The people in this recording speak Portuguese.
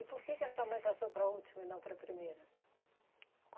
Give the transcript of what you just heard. E por que que a sua mãe passou para a última e não para a primeira?